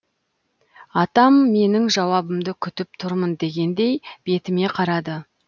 атам менің жауабымды күтіп тұрмын дегендей бетіме қарады